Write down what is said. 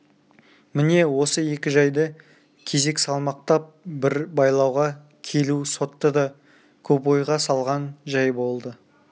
міне осы екі жайды кезек салмақтап бір байлауға келу сотты да көп ойға салған жай болды